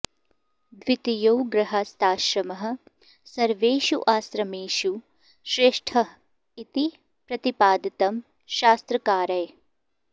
द्वितीयो गृहस्थाश्रमः सर्वेषु आश्रमेषु श्रेष्ठः इति प्रतिपादितं शास्त्रकारैः